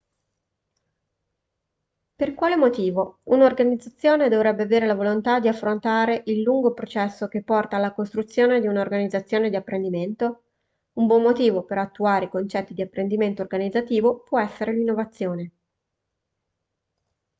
per quale motivo un'organizzazione dovrebbe avere la volontà di affrontare il lungo processo che porta alla costruzione di un'organizzazione di apprendimento un buon motivo per attuare i concetti di apprendimento organizzativo può essere l'innovazione